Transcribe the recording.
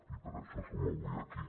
i per això som avui aquí